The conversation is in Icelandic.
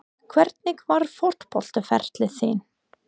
Hvernig var fótboltaferill þinn?